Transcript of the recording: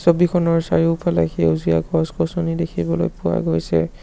ছবিখনৰ চাৰিওফালে সেউজীয়া গছ-গছনি দেখিবলৈ পোৱা গৈছে।